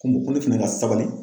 Ko ko ne fɛnɛ ka sabali